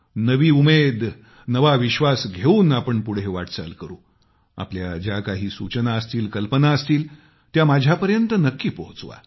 नवी उमेद नवा विश्वास घेऊन आपण पुढे वाटचाल करुआपल्या ज्या काही सूचना असतील कल्पना असतील त्या माझ्यापर्यंत नक्की पोहचवा